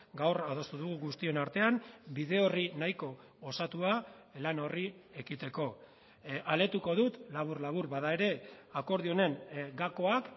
gaur adostu dugu guztion artean bide orri nahiko osatua lan horri ekiteko aletuko dut labur labur bada ere akordio honen gakoak